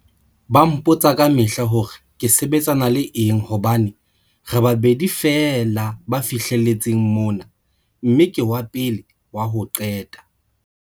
Ba mpotsa kamehla hore ke sebetsana le eng hobane re babedi feela ba fihle letseng mona mme ke wa pele wa ho qeta.